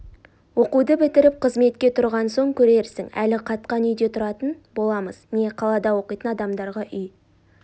оқуды бітіріп қызметке тұрған соң көрерсің әлі қатқан үйде тұратын боламыз не қалада оқитын адамдарға үй